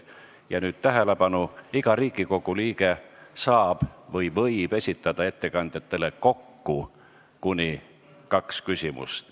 Ja nüüd tähelepanu, iga Riigikogu liige saab või võib ettekandjatele esitada kokku kuni kaks küsimust.